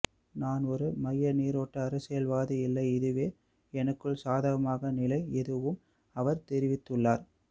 நான் ஒரு மையநீரோட்ட அரசியல்வாதியில்லை இதுவே எனக்குள்ள சாதகமான நிலை எனவும் அவர் தெரிவித்துள்ளார்